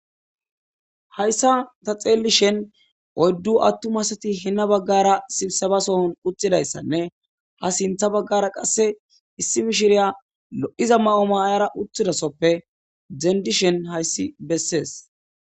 Hayssa ta xeelli shen oyddu attumasati hina baggara sibisebasoon uttidayssanne ha sintha baggara qasse issi mishiriya lo7iza ma7o mayara utthidasoppe dendishen hayssi bessees.